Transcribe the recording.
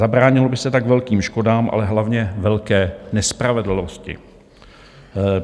Zabránilo by se tak velkým škodám, ale hlavně velké nespravedlnosti.